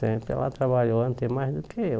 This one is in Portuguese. Sempre ela trabalhou até mais do que eu